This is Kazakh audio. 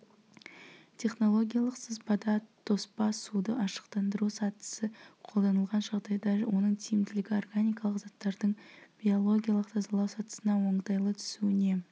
технологиялық сызбада тоспа суды ашықтандыру сатысы қолданылған жағдайда оның тиімділігі органикалық заттардың биологиялық тазалау сатысына оңтайлы түсуіне